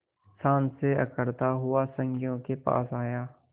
शान से अकड़ता हुआ संगियों के पास आया